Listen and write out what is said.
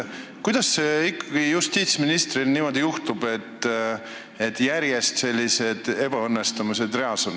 Kuidas justiitsministril ikkagi niimoodi juhtub, et ebaõnnestumised on järjest reas?